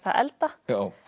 að elda